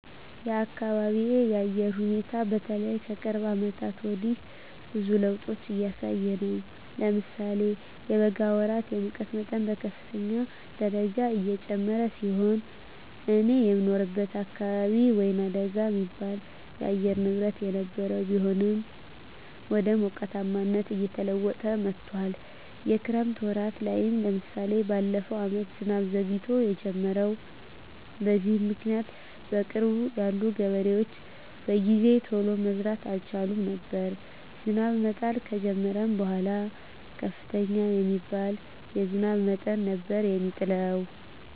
የአካቢየ የአየር ሁኔታ በተለይ ከቅርብ አመታት ወዲህ ብዙ ለዉጦች እያሳየ ነው። ለምሳሌ የበጋ ወራት የሙቀት መጠን በከፍተኛ ደረጃ የጨመረ ሲሆን እኔ የምኖርበት አካባቢ ወይናደጋ የሚባል የአየር ንብረት የነበረው ቢሆንም ወደ ሞቃታማነት እየተለወጠ መጥቶአል። የክረምት ወራት ላይም ለምሳሌ በለፈው አመት ዝናብ ዘግይቶ የጀመረው። በዚህም ምክኒያት በቅርብ ያሉ ገበሬዎች በጊዜ ቶሎ መዝራት አልቻሉም ነበር። ዝናብ መጣል ከጀመረም በኃላ ከፍተኛ የሚባል የዝናብ መጠን ነበር የሚጥለው።